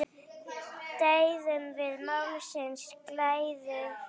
Deyðum við málsins glæður?